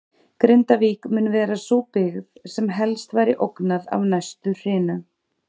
Grindavík mun vera sú byggð, sem helst væri ógnað af næstu hrinu.